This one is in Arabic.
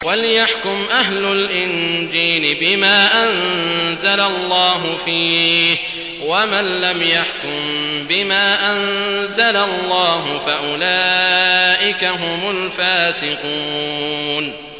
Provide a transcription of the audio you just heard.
وَلْيَحْكُمْ أَهْلُ الْإِنجِيلِ بِمَا أَنزَلَ اللَّهُ فِيهِ ۚ وَمَن لَّمْ يَحْكُم بِمَا أَنزَلَ اللَّهُ فَأُولَٰئِكَ هُمُ الْفَاسِقُونَ